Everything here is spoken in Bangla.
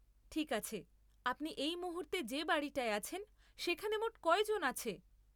ঠিক আছে, আপনি এই মুহূর্তে যে বাড়িটায় আছেন সেখানে মোট কয়জন আছে?